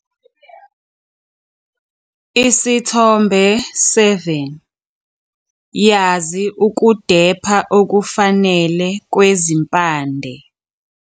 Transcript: Isithombe 7- Yazi ukudepha okufanele kwezimpande.